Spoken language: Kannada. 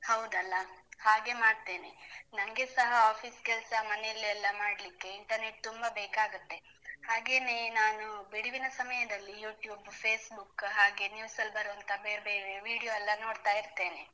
ಹೌದಲ್ಲ? ಹಾಗೇ ಮಾಡ್ತೇನೆ, ನನ್ಗೆ ಸಹ office ಕೆಲ್ಸ ಮನೆಯಲ್ಲೆ ಎಲ್ಲ ಮಾಡ್ಲಿಕ್ಕೆ internet ತುಂಬ ಬೇಕಾಗುತ್ತೆ, ಹಾಗೇನೇ ನಾನು ಬಿಡುವಿನ ಸಮಯದಲ್ಲಿ YouTube, Facebook ಹಾಗೆ news ಅಲ್ ಬರುವಂತ ಬೇರ್ ಬೇರೆ video ಎಲ್ಲ ನೋಡ್ತಾ ಇರ್ತೇನೆ.